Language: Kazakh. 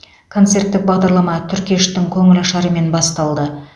концерттік бағдарлама түркештің көңілашарымен басталды